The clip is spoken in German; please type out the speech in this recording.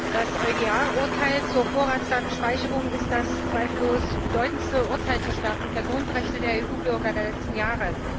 Herr Präsident! Das EuGH Urteil zur Vorratsdatenspeicherung ist das zweifellos bedeutendste Urteil zur Stärkung der Grundrechte der EU Bürger der letzten Jahre.